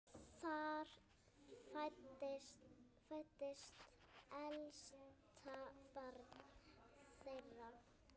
Þar fæddist elsta barn þeirra.